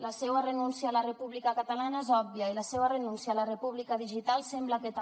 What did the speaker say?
la seua renúncia a la república catalana és òbvia i la seua renúncia a la república digital sembla que també